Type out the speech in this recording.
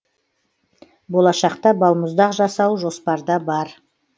болашақта балмұздақ жасау жоспарда бар